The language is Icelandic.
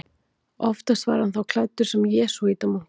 Oftast var hann þá klæddur sem jesúítamunkur.